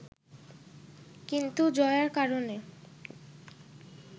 কিন্তু জয়ার কারণে